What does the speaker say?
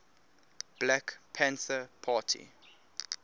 black panther party